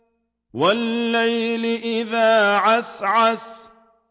وَاللَّيْلِ إِذَا عَسْعَسَ